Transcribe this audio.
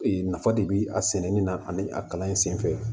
Ee nafa de bi a sɛnɛni na ani a kalan in senfɛ